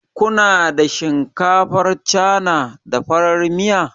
Ku na da shinkafar Cana, da farar miya?